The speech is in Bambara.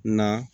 Na